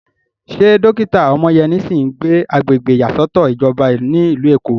Ṣé dókítà Omoyeni sì ń gbé agbègbè ìyàsọ́tọ̀ ìjọba ní ìlú Èkó?